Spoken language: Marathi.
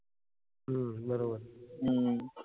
हम्म बरोबर आहे. हम्म